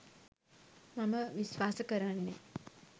මම විශ්වාස කරන්නේ.